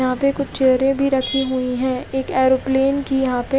यहाँ पे कुछ चेरे भी रखी हुई है एक एरोप्लेन की यहाँ पे--